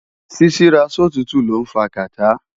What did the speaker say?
Ṣíṣíra sòtútù lọ́ ń fa kàtá